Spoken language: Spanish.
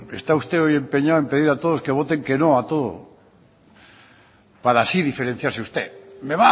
está usted hoy empeñado en pedir a todos que voten que no a todo para así diferenciarse usted me